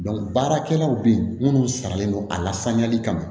baarakɛlaw bɛ yen minnu saralen don a la saniyali kama